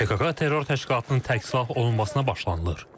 PKK terror təşkilatının tərksilah olunmasına başlanılır.